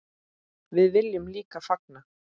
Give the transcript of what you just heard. Við viljum líka fagna.